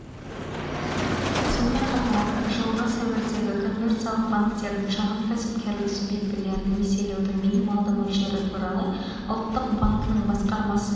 сонымен қатар жылғы сәуірдегі коммерциялық банктердің шағын кәсіпкерлік субъектілерін несиелеудің минималды мөлшері туралы ұлттық банкінің басқармасының